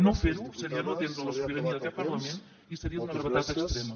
no fer ho seria no atendre la sobirania d’aquest parlament i seria d’una gravetat extrema